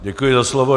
Děkuji za slovo.